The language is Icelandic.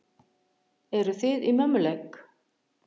Eruð þið í mömmuleik!